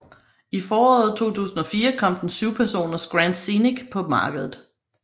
I foråret 2004 kom den syvpersoners Grand Scénic på markedet